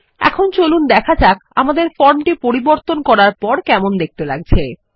এখন চলুন দেখা যাক আমাদের ফর্মটি পরিবর্তন করার পরে কেমনদেখতে লাগছে